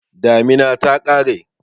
Damina ta ƙare.